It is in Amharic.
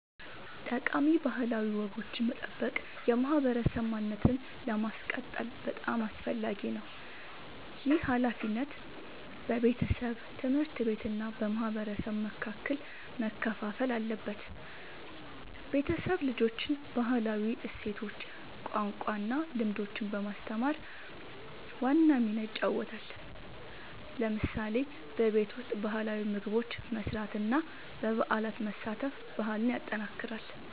ጠቃሚ ባህላዊ ወጎችን መጠበቅ የማህበረሰብ ማንነትን ለማስቀጠል በጣም አስፈላጊ ነው። ይህ ሃላፊነት በቤተሰብ፣ ትምህርት ቤት እና በማህበረሰብ መካከል መከፋፈል አለበት። ቤተሰብ ልጆችን ባህላዊ እሴቶች፣ ቋንቋ እና ልምዶች በማስተማር ዋና ሚና ይጫወታል። ለምሳሌ በቤት ውስጥ ባህላዊ ምግቦች መስራት እና በበዓላት መሳተፍ ባህልን ያጠናክራል።